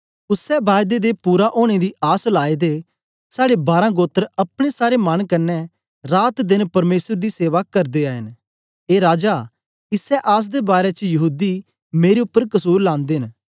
उसै बायदे दे पूरा ओनें दी आस लाए दे साड़े बारां गोत्र अपने सारे मन कन्ने रात देन परमेसर दी सेवा करदे आए न ए राजा इसै आस दे बारै च यहूदी मेरे उपर कसुर लांदे न